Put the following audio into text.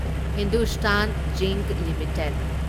Hindustan Zinc limited